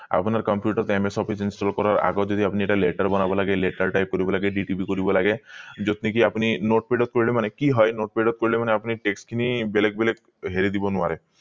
আপোনাৰ computer ত ms office installed ৰ আগত যদি আপুনি এটা latter বনাব লাগে latter type কৰিব লাগে dtp কৰিব লাগে যত নেকি আপুনি notepad ত কৰিলে মানে কি হয় notepad ত কৰিলে মানে আপুনি text বেলেগ বেলেগ হেৰি দিব নোৱাৰে